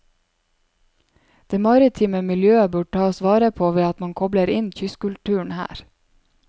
Det maritime miljøet bør tas vare på ved at man kobler inn kystkulturen her.